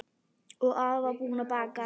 Og afi var búinn að baka.